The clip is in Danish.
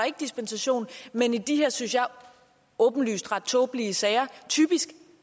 ikke dispensation men i de her synes jeg åbenlyst ret tåbelige sager typisk